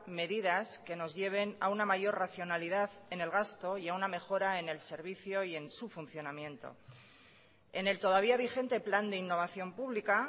medidas que nos lleven a una mayor racionalidad en el gasto y a una mejora en el servicio y en su funcionamiento en el todavía vigente plan de innovación pública